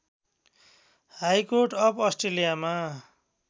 high court of अस्ट्रेलियामा